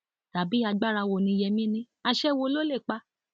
tàbí agbára wo ni yémí ní àṣẹ wo ló lè pa